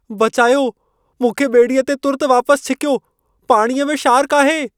बचायो! मूंखे ॿेड़ीअ ते तुर्तु वापसि छिकियो। पाणीअ में शार्कु आहे।